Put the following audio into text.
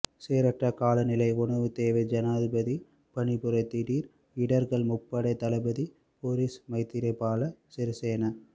சீரற்ற காலநிலை உணவு தேவை ஜனாதிபதி பணிப்புரை திடீர் இடர்கள் முப்படை தளபதிகள் பொலிஸ் மைத்திரபால சிறிசேன